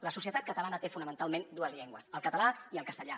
la societat catalana té fonamentalment dues llengües el català i el castellà